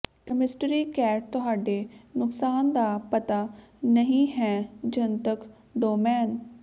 chemistry cat ਤੁਹਾਡੇ ਨੁਕਸਾਨ ਦਾ ਪਤਾ ਨਹੀਂ ਹੈ ਜਨਤਕ ਡੋਮੇਨ